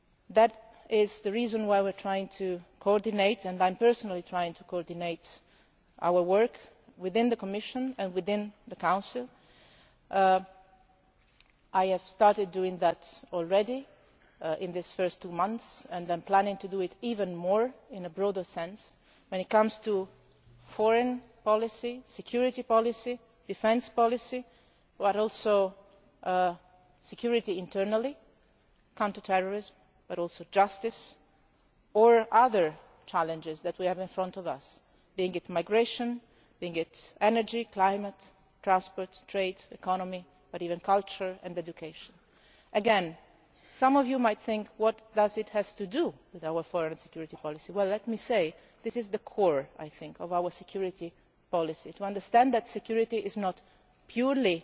That is the reason why we are trying to coordinate and I am personally trying to coordinate our work within the Commission and within the Council. I have started doing that already in these first two months, and I am planning to do it even more, in a broader sense, when it comes to foreign, security and defence policy, but also security internally counter terrorism and also justice and other challenges that we have before us, be they migration, energy, climate, transport, trade, the economy, or even culture and education. Again, some of you might wonder what this has to do with our foreign and security policy. This is the core, I think, of our security policy to understand that security is